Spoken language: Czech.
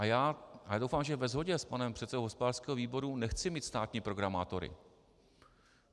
A já doufám, že ve shodě s panem předsedou hospodářského výboru nechci mít státní programátory.